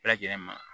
Bɛɛ lajɛlen ma